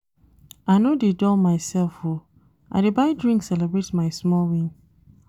I no dey dull mysef o, I dey buy drink celebrate my small win.